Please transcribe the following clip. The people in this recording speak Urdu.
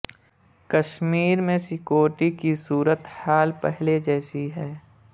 کشمیر میں سکیورٹی کی صورت حال پہلے جیسی ہی ہے